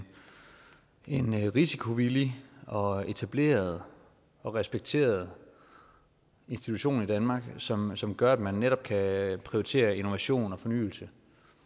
en risikovillig og etableret og respekteret institution i danmark som som gør at man netop kan prioritere innovation og fornyelse